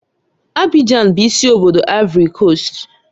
Abijan bụ isi obodo Aịvorị Koost